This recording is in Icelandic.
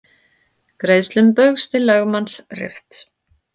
Greiðslum Baugs til lögmanns rift